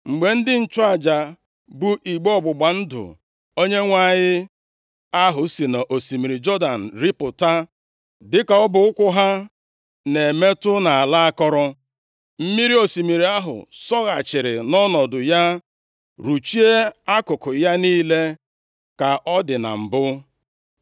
Mgbe ndị nchụaja bu igbe ọgbụgba ndụ Onyenwe anyị ahụ si nʼosimiri Jọdan rịpụta, dịka ọbụ ụkwụ ha na-emetụ nʼala akọrọ, mmiri osimiri ahụ sọghachiri nʼọnọdụ ya ruchie akụkụ ya niile, ka ọ dị na mbụ.